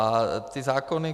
A ty zákony?